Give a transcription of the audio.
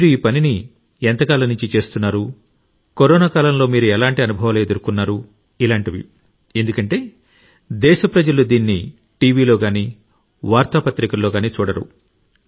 మీరు ఈ పనిని ఎంతకాలం నుండి చేస్తున్నారు కరోనా కాలంలో మీరు ఎలాంటి అనుభవాలు ఎదుర్కొన్నారు ఎందుకంటే దేశ ప్రజలు దీన్ని టీవీలో గానీ వార్తాపత్రికలలో గానీ చూడరు